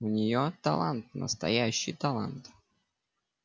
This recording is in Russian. у неё талант настоящий талант